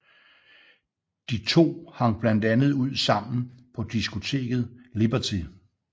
De to hang blandt andet ud sammen på diskoteket Liberty